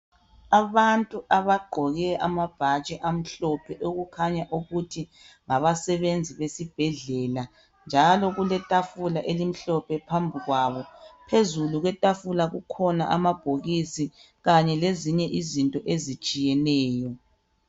Abantu abagqoke amabhatshi amhlophe okukhanya ukuthi ngabasebenzi besibhedlela njalo kuletafula elimhlophe phambi kwabo phezulu kwetafula kukhona amabhokisi kanye lezinye izinto ezitshiyeneyo.